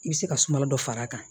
I bɛ se ka suma dɔ far'a kan